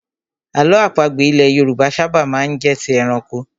Àlọ́ àpagbè ilẹ̀ Yorùbá ṣábà má ń jẹ́ ti ẹranko.